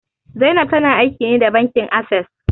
Zainab ta na aiki ne da bankin Ases